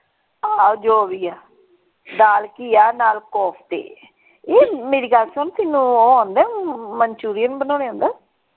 ਆਹੋ ਜੋ ਭੀ ਹੈ ਦਾਲ ਘਿਆ ਨਾਲ ਕੋਫਤੇ ਇਹ ਮੇਰੀ ਗੱਲ ਸੁਣ ਤੈਨੂੰ ਉਹ ਆਂਦਾ ਹੈ manchurian ਬਨਾਉਣੇ ਆਉਂਦਾ।